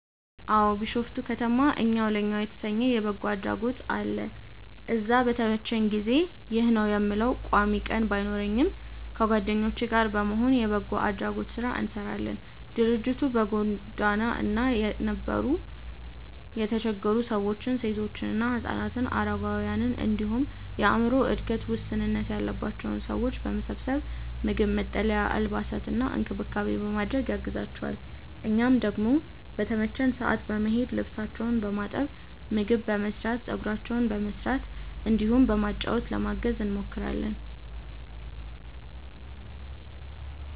አዎ። ቢሾፍቱ ከተማ እኛው ለእኛው የተሰኘ የበጎ አድራጎት አለ። እዛ በተመቸኝ ጊዜ (ይህ ነው የምለው ቋሚ ቀን ባይኖረኝም) ከጓደኞቼ ጋር በመሆን የበጎ አድራጎት ስራ እንሰራለን። ድርጅቱ በጎዳና ላይ የነበሩ የተቸገሩ ሰዎችን፣ ሴቶችና ህፃናትን፣ አረጋውያንን እንዲሁም የአዕምሮ እድገት ውስንነት ያለባቸውን ሰዎች በመሰብሰብ ምግብ፣ መጠለያ፣ አልባሳትና እንክብካቤ በማድረግ ያግዛቸዋል። እኛም ደግሞ በተመቸን ሰዓት በመሄድ ልብሳቸውን በማጠብ፣ ምግብ በመስራት፣ ፀጉራቸውን በመስራት እንዲሁም በማጫወት ለማገዝ እንሞክራለን።